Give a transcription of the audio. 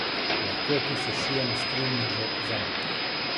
Lahko ti sešijem skrivni žep zanj.